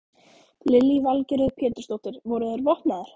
Lillý Valgerður Pétursdóttir: Voru þeir vopnaðir?